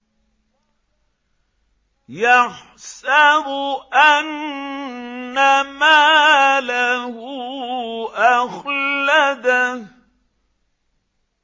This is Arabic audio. يَحْسَبُ أَنَّ مَالَهُ أَخْلَدَهُ